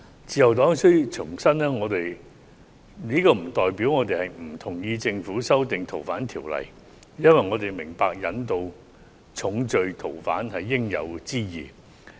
自由黨必須重申，這不代表我們不同意政府修訂《逃犯條例》，因為我們明白引渡重罪逃犯是應有之義。